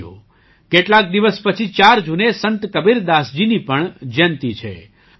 સાથીઓ કેટલાક દિવસ પછી ચાર જૂને સંત કબીરદાસજીની પણ જયંતી છે